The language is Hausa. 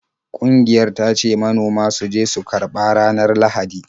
Ƙungiyar ta ce manoma su je su karba ranar Lahadi.